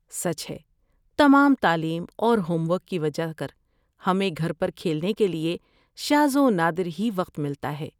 سچ ہے، تمام تعلیم اور ہوم ورک کی وجہ کر، ہمیں گھر پر کھیلنے کے لیے شاذ و نادر ہی وقت ملتا ہے۔